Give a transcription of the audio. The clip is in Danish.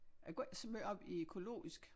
Jeg går ikke så måj op i økologisk